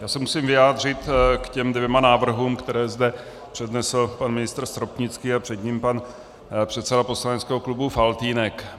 Já se musím vyjádřit k těm dvěma návrhům, které zde přednesl pan ministr Stropnický a před ním pan předseda poslaneckého klubu Faltýnek.